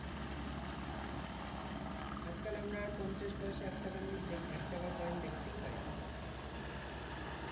আজকাল আমরা পঞ্চাশ পয়সা এক টাকার নোট একটাকা coin দেখতেই পাই না